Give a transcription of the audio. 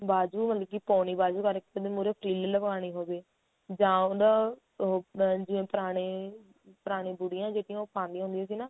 ਬਾਜੂ ਮਤਲਬ ਕੀ ਪੋਉਣੀ ਬਾਜੂ ਕਰਕੇ ਤੇ ਮੁਹਰੇ frill ਲਗਵਾਨੀ ਹੋਵੇ ਜਾਂ ਉਹਦਾ ਉਹ ਮਤਲਬ ਜਿਵੇਂ ਪੁਰਾਣੇ ਪੁਰਾਣੀਆਂ ਬੁਢੀਆਂ ਜਿਹੜੀਆਂ ਉਹ ਪਾਉਂਦੀਆਂ ਹੁੰਦੀਆਂ ਸੀ ਨਾ